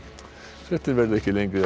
fréttir verða ekki lengri að